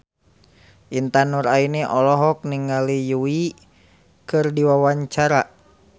Intan Nuraini olohok ningali Yui keur diwawancara